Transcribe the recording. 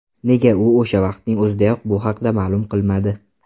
Nega u o‘sha vaqtning o‘zidayoq bu haqda ma’lum qilmadi?